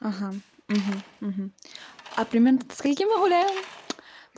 а примерно до скольки мы гуляем